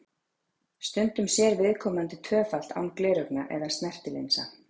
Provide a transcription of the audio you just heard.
Stundum sér viðkomandi tvöfalt án gleraugna eða snertilinsa.